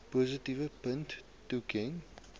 positiewe punte toeken